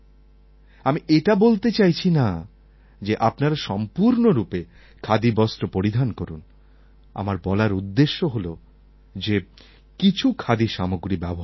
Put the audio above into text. আমি এটা বলতে চাইছি না যে আপনারা সম্পূর্ণরূপে খাদিবস্ত্র পরিধান করুন আমার বলার উদ্দেশ্য হল যে কিছু খাদি সামগ্রী ব্যবহার করুন